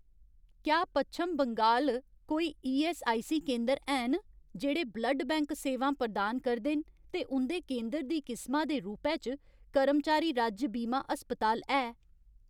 क्या पच्छम बंगाल कोई ईऐस्सआईसी केंदर हैन जेह्ड़े ब्लड बैंक सेवां प्रदान करदे न ते उं'दे केंदर दी किसमा दे रूपै च कर्मचारी राज्य बीमा अस्पताल है ?